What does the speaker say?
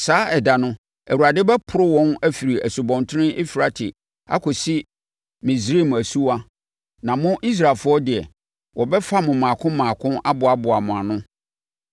Saa ɛda no, Awurade bɛporo wɔn afiri asutene Eufrate akɔsi Misraim asuwa, na mo, Israelfoɔ deɛ, wɔbɛfa mo mmaako mmaako aboaboa mo ano.